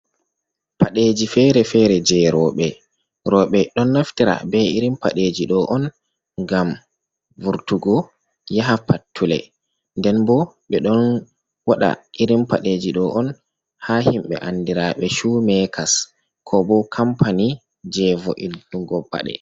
Paɗeji fere-fere je rowɓe. Rowɓe don naftira be irin paɗeji ɗo on ngam vurtugo yaha pattule, nden bo ɓe ɗon waɗa irin paɗeji ɗo on haa himɓe andiraaɓe shoe-makers, ko bo kampani jei vo’inugo paɗe.